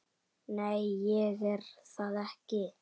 Nei, ég er það ekki.